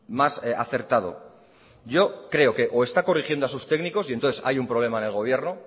más acertado yo creoque o está corrigiendo a sus técnicos y entonces hay un problema en el gobierno